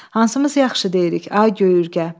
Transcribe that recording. Hansımız yaxşı deyirik, ay göy Ürgə?